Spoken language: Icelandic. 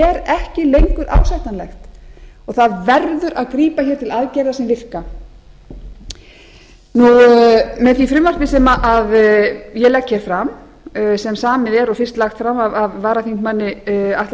ekki lengur ásættanlegt og það verður að grípa hér til aðgerða sem virka með því frumvarpi sem ég legg hér fram sem samið er og fyrst lagt fram af varaþingmanni atla